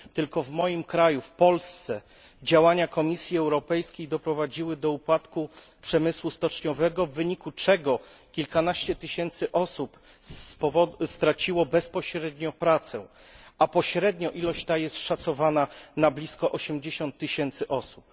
Tylko w moim kraju, w Polsce, działania Komisji Europejskiej doprowadziły do upadku przemysłu stoczniowego, w wyniku czego kilkanaście tysięcy osób straciło bezpośrednio pracę, a pośrednio ilość ta jest szacowana na blisko 80 tysięcy osób.